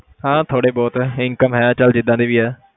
ਹਾਂ ਥੋੜ੍ਹੇ ਬਹੁਤ income ਹੈ ਚੱਲ ਜਿੱਦਾਂ ਦੀ ਵੀ ਹੈ